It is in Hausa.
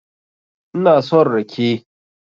Ina son rake